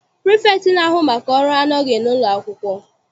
Pirifektị na-ahu maka ọrụ anọghị n'ụlọ akwụkwọ.